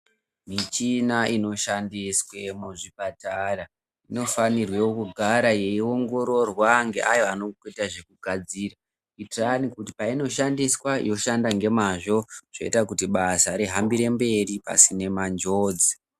Michina inoshandiswe muzvipatara inofanirwe kugara yeiongororwa ngeaya vanoita zvekugadira. Kuitirani kuti painoshandiswa yoshanda ngemazvo zvoita kuti basa rihambire mberi pasina manjodzi.